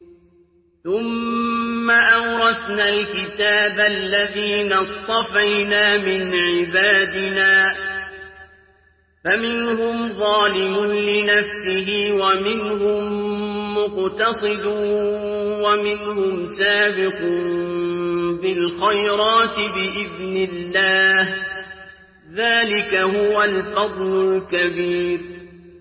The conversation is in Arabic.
ثُمَّ أَوْرَثْنَا الْكِتَابَ الَّذِينَ اصْطَفَيْنَا مِنْ عِبَادِنَا ۖ فَمِنْهُمْ ظَالِمٌ لِّنَفْسِهِ وَمِنْهُم مُّقْتَصِدٌ وَمِنْهُمْ سَابِقٌ بِالْخَيْرَاتِ بِإِذْنِ اللَّهِ ۚ ذَٰلِكَ هُوَ الْفَضْلُ الْكَبِيرُ